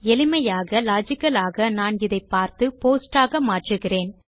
எளிமையாக லாஜிக்கல் ஆக நான் இதை பார்த்து போஸ்ட் ஆக மாற்றுகிறேன்